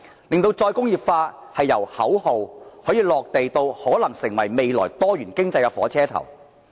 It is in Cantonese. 如何令再工業化由口號"落地"至可能成為未來多元經濟的火車頭？